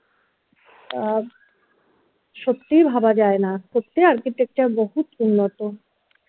আহ সত্যিই ভাবা যাই না সত্যিই architecture বহুত উন্নত